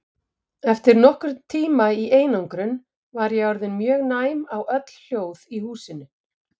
Eftir nokkurn tíma í einangrun var ég orðin mjög næm á öll hljóð í húsinu.